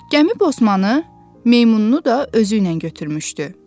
Gəmi Bosmanı, meymununu da özü ilə götürmüşdü.